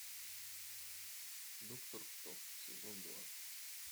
доктор кто сезон два